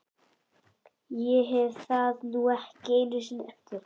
Ég hef það nú ekki einu sinni eftir